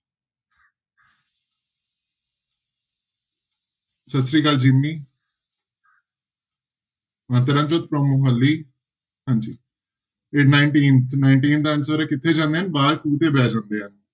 ਸਤਿ ਸ੍ਰੀ ਅਕਾਲ ਜਿੰਮੀ ਹਾਂਜੀ ਇਹ nineteen ਤੇ nineteen ਦਾ answer ਹੈ ਕਿੱਥੇ ਜਾਂਦੇ ਬਾਹਰ ਖੂਹ ਤੇ ਬਹਿ ਜਾਂਦੇ ਆ।